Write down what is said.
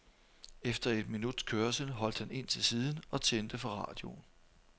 Efter et minuts kørsel holdt han ind til siden og tændte for radioen.